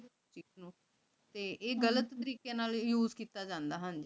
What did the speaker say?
ਤੇ ਈਯ ਗਲਤ ਤਾਰ੍ਕ਼ੀ ਨਾਲ use ਕੀਤਾ ਜਾਂਦਾ ਹਾਂਜੀ